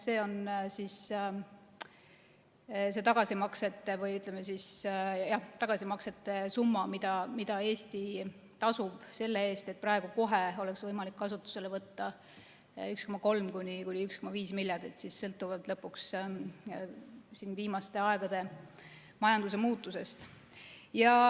See on tagasimaksete summa, mida Eesti tasub selle eest, et praegu kohe oleks võimalik kasutusele võtta 1,3–1,5 miljardit, sõltuvalt lõpuks viimaste aegade majanduse muutusest.